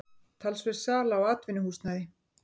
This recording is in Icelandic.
Talsverð sala á atvinnuhúsnæði